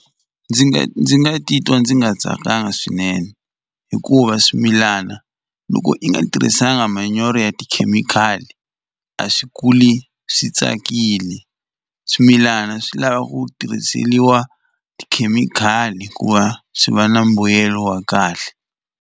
Ndzi nga ndzi nga titwa ndzi nga tsakanga swinene hikuva swimilana loko i nga tirhisanga manyoro ya tikhemikhali a swi kuli swi tsakile swimilana swi lava ku tirhiseliwa tikhemikhali ku va swi va na mbuyelo wa kahle.